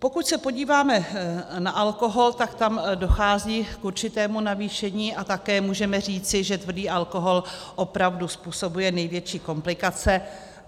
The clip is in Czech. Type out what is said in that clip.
Pokud se podíváme na alkohol, tak tam dochází k určitému navýšení, a také můžeme říci, že tvrdý alkohol opravdu způsobuje největší komplikace.